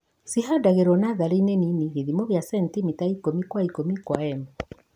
cihandagro natharĩinĩ nini gĩthimo kĩacentimita ikũmi gwa ikũmi kwa m